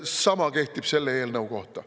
Sama kehtib selle eelnõu kohta.